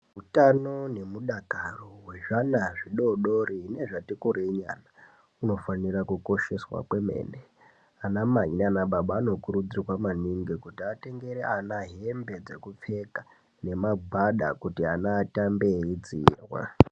Utano nemudakaro ngevana vadodori nezvati kureyinyana hunofanira kukosheswa kwemene anamai nanababa vanokuridzirwa maningi kuti atengere ana hembe dzekupfeka nemagwada kuti ana vatambe veyidziirwa.